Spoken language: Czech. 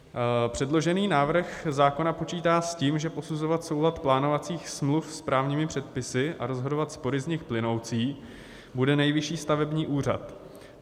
Předložený návrh zákona počítá s tím, že posuzovat soulad plánovacích smluv s právními předpisy a rozhodovat spory z nich plynoucí bude Nejvyšší stavební úřad.